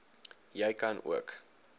jy kan ook